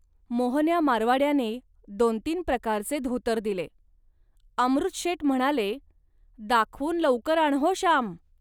मोहन्या मारवाड्याने दोनतीन प्रकारचे धोतर दिले. अमृतशेट म्हणाले, "दाखवून लौकर आण हो, श्याम